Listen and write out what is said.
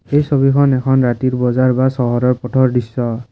এই ছবিখন এখন ৰাতিৰ বজাৰ বা চহৰৰ ফটো ৰ দৃশ্য।